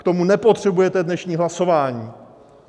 K tomu nepotřebujete dnešní hlasování.